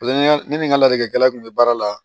ne ni n ka ladilikala kun bɛ baara la